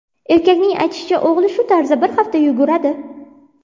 Erkakning aytishicha, o‘g‘li shu tarzda bir hafta yuguradi.